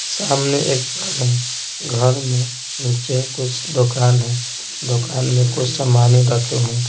सामने एक घर है घर में नीचे कुछ दुकान है दुकान में कुछ सामान रखे हुए हैं।